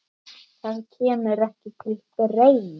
Það kemur ekki til greina!